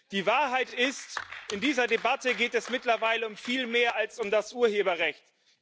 Die Wahrheit ist In dieser Debatte geht es mittlerweile um viel mehr als um das Urheberrecht.